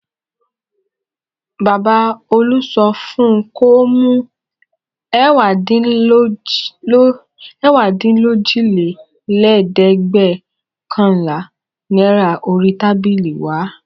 Baba Olú sọ fún un kó mú ẹ̀wádínlójìlélẹ́ẹ̀dẹ́gbẹ̀ọ̀kànlá náírà orí tábìlì wá.